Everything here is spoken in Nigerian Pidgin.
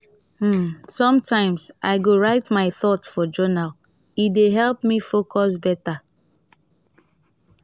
um sometimes i go write my thoughts for journal; e dey help me focus beta.